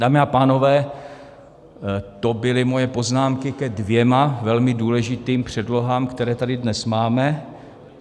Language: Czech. Dámy a pánové, to byly moje poznámky ke dvěma velmi důležitým předlohám, které tady dnes máme.